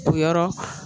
O yɔrɔ